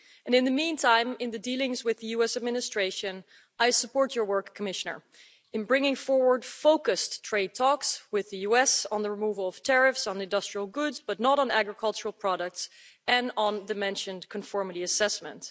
In the meantime, in the dealings with US administration, I support your work, Commissioner, in bringing forward focused trade talks with the US on the removal of tariffs on industrial goods, but not on agricultural products, and on the mentioned conformity assessment.